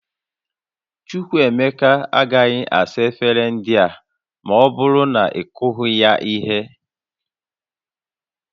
Chukwuemeka agaghị asa efere ndị a ma ọ bụrụ na ị kụghị ya ihe